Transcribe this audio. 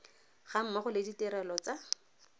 ga mmogo le ditirelo tsa